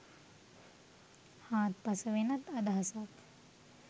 හාත්පස වෙනස් අදහසක්..